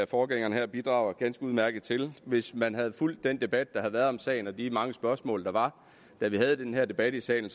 forgængeren her bidrager ganske udmærket til hvis man havde fulgt den debat der har været om sagen og de mange spørgsmål der var da vi havde den her debat i salen